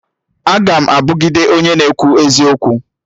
Aga m abugide onye na-ekwu eziokwu